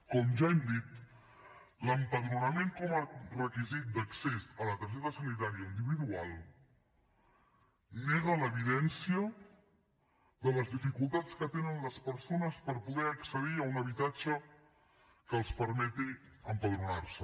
com ja hem dit l’empadronament com a requisit d’accés a la targeta sanitària individual nega l’evidència de les dificultats que tenen les persones per poder accedir a un habitatge que els permeti empadronar se